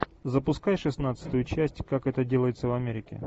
запускай шестнадцатую часть как это делается в америке